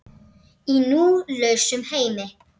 Í nú lausum heimi.